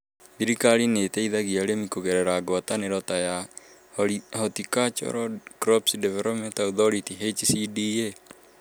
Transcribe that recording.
Thirikari nĩ ĩteithagia arĩmi kũgerera ngwatanĩro ta ya Horticultural Crops Development Authority (HCDA).